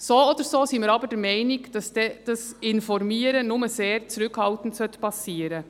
So oder so sind wir der Meinung, dass dieses Informieren nur sehr zurückhaltend geschehen sollte.